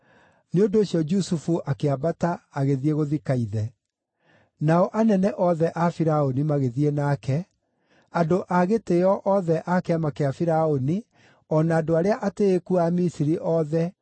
Nĩ ũndũ ũcio Jusufu akĩambata agĩthiĩ gũthika ithe. Nao anene othe a Firaũni magĩthiĩ nake, andũ a gĩtĩĩo othe a kĩama kĩa Firaũni o na andũ arĩa atĩĩku a Misiri othe,